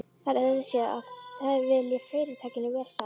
Það er auðséð, að þið viljið Fyrirtækinu vel sagði hann.